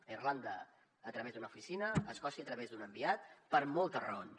a irlanda a través d’una oficina a escòcia a través d’un enviat per moltes raons